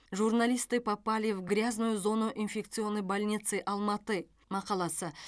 журналисты попали в грязную зону инфекционной больницы алматы мақаласы